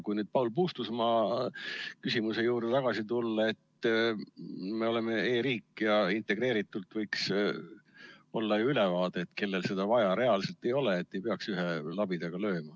Kui nüüd veel Paul Puustusmaa küsimuse juurde tagasi tulla, siis me oleme e-riik ja meil võiks ju integreeritult olla ülevaade, kellel seda reaalselt vaja on või kellel ei ole, et ei peaks ühe labidaga lööma.